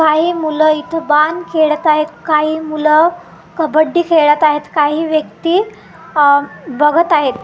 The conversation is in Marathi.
काही मुलं इथं बाण खेळत आहेत काही मुलं कबड्डी खेळत आहेत काही व्यक्ती अह बघत आहेत.